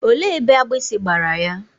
Olee ebe agbịsị gbara ya?